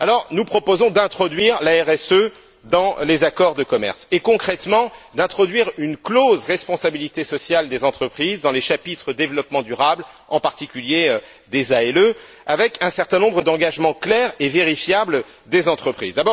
Nous proposons donc d'introduire la RSE dans les accords de commerce et, concrètement, d'introduire une clause de responsabilité sociale des entreprises dans les chapitres sur le développement durable, en particulier des ALE, avec un certain nombre d'engagements clairs et vérifiables des entreprises.